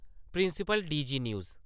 principal D G news